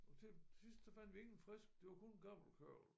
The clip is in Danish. Og til til sidst så fandt vi ingen frisk det var kun gammel kørvel